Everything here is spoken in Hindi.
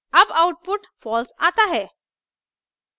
अब output false आता है